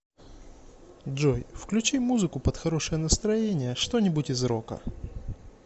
джой включи музыку под хорошее настроение что нибудь из рока